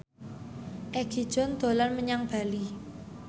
Egi John dolan menyang Bali